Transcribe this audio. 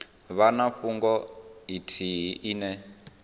vha na fhungo ithihi ine